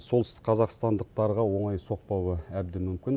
солтүстік қазақстандықтарға оңай соқпауы әбден мүмкін